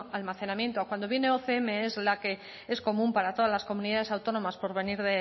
almacenamiento cuando viene ocm es la que es común para todas las comunidades autónomas por venir